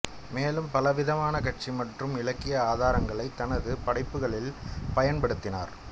மேலும் பலவிதமான காட்சி மற்றும் இலக்கிய ஆதாரங்களை தனது படைப்புகளில் பயன்படுத்தினார்